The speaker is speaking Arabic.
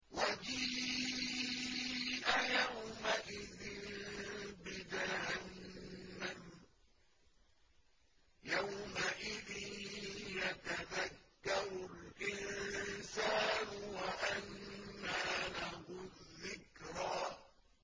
وَجِيءَ يَوْمَئِذٍ بِجَهَنَّمَ ۚ يَوْمَئِذٍ يَتَذَكَّرُ الْإِنسَانُ وَأَنَّىٰ لَهُ الذِّكْرَىٰ